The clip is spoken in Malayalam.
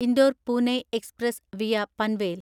Indore Pune express (via Panvel)